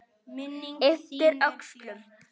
Ypptir öxlum.